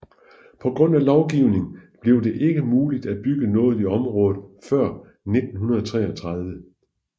På grund af lovgivning blev det ikke muligt at bygge noget i området før 1933